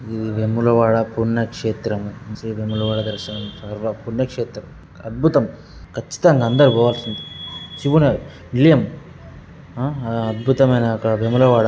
వేములవాడ పుణ్యక్షేత్రం శ్రీ వేములవాడ దర్శనం పుణ్యక్షేత్రం. అద్భుతం. ఖచ్చితంగా అందరూ పోవాల్సిందే శివుని నిలయం. ఆ అద్భుతమైన అక్కడ వేములవాడ